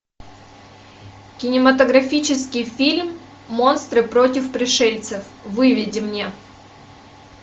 кинематографический фильм монстры против пришельцев выведи мне